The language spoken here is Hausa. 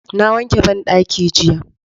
Na wanke banɗaki jiya